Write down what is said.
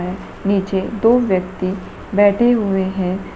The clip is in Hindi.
नीचे दो व्यक्ति बैठे हुए हैं।